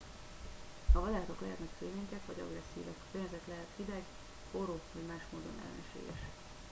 a vadállatok lehetnek félénkek vagy agresszívek a környezet lehet hideg forró vagy más módon ellenséges